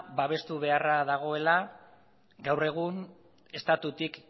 babestu beharra dagoela gaur egun estatutik